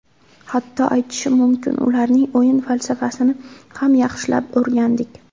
Hatto, aytishim mumkin ularning o‘yin falsafasini ham yaxshilab o‘rgandik.